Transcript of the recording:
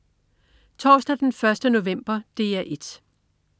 Torsdag den 1. november - DR 1: